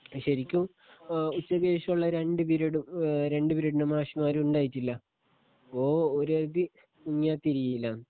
ശെരിക്കും ഏ ഉച്ചക്കേശൊള്ള രണ്ട്‌ പിരിയഡും ഏ രണ്ട്‌ പിരിയഡിൻ്റെ മാഷമ്മാരും ഉണ്ടായിട്ടില്ല ഗോ ഓരെര്തി ഇന്യാ തിരീല്ലാന്ന്